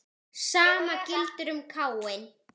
Sama gildir um Káin.